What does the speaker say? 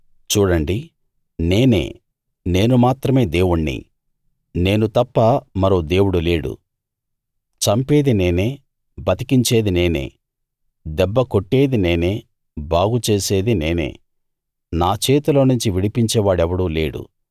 చూడండి నేనే నేను మాత్రమే దేవుణ్ణి నేను తప్ప మరో దేవుడు లేడు చంపేది నేనే బతికించేది నేనే దెబ్బ కొట్టేది నేనే బాగు చేసేది నేనే నా చేతిలో నుంచి విడిపించేవాడెవడూ లేడు